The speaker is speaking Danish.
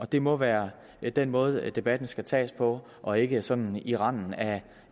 det må være den måde debatten skal tages på og ikke sådan i randen af